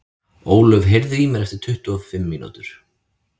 Ólöf, heyrðu í mér eftir tuttugu og fimm mínútur.